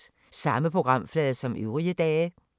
Samme programflade som øvrige dage